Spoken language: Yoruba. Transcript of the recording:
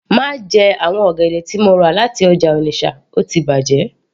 Má jẹ àwọn ọ̀gẹ̀dẹ̀ tí mo rà láti ọjà Onitsha ó ti bàjẹ́